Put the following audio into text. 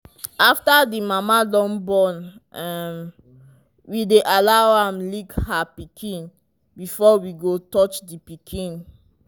after the mama dun born um we dy allow am lick her pikin before we go touch the pikin